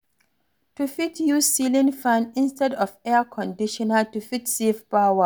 You fit use ceiling fan istead of Air Conditioner to fit save power